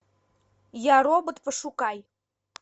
я робот пошукай